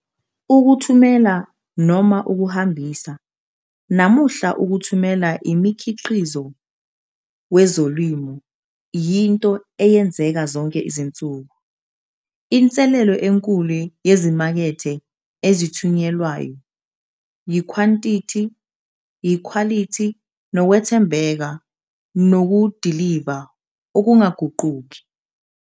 Ukuthumela - ukuhambisa - namuhla ukuthumela imikhiqizo wezolimo yinto eyenzeka zonke izinsuku. Inselelo enkulu yezimakethe ezithunyelelwayo yikhwantithi, ikhwalithi, nokwethembeka, nokudiliva okungaguquki.